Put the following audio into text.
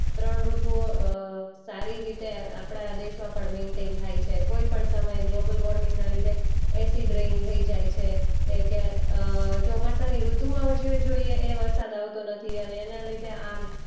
ત્રણ ઋતુઓ અ સારી રીતે આપણા દેશમાં પણ મેઈન્ટેઈન થાય છે. કોઈ પણ સમયે ગ્લોબલ વૉર્મિંગના લીધે એસિડ રેઈન થઈ જાય છે. કે કે અ ચોમાસાની ઋતુમાં હવે જે જોયે એ વરસાદ આવતો નથી અને એના લીધે આમ